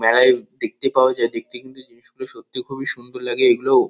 মেলায় দেখতে পাওয়া যায় দেখতে কিন্তু জিনিসগুলো সত্যি খুবই সুন্দর লাগে এগুলো |